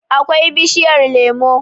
akwai bishiyar lemo